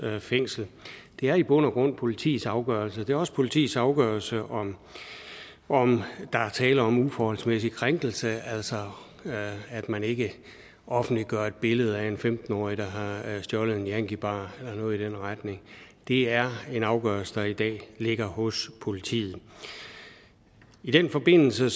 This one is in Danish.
fængsel det er i bund og grund politiets afgørelse det er også politiets afgørelse om om der er tale om en uforholdsmæssig krænkelse altså at man ikke offentliggør et billede af en femten årig der har stjålet en yankie bar eller noget i den retning det er en afgørelse der i dag ligger hos politiet i den forbindelse